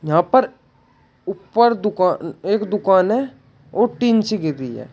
यहाँ पर ऊपर दुकान एक दुकान है और टिन से घिरी है।